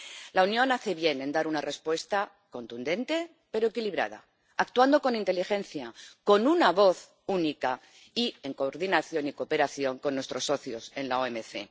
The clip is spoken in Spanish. La Unión hace bien en dar una respuesta contundente, pero equilibrada, actuando con inteligencia, con una voz única y en coordinación y cooperación con nuestros socios en la OMC.